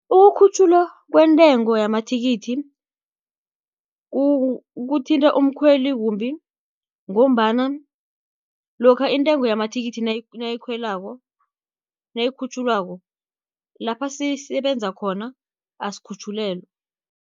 Ukukhutjhulwa kwentengo yamathikithi, kuthinta umkhweli kumbi, ngombana lokha intengo yamathikithi nayikhutjhulwako, lapha sisebenza khona asikhutjhulelwa.